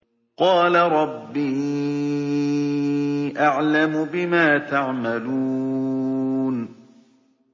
قَالَ رَبِّي أَعْلَمُ بِمَا تَعْمَلُونَ